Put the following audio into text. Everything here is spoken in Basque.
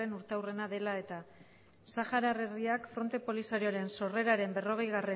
urteurrena dela eta saharar herriak fronte polisarioaren sorreraren berrogeigarrena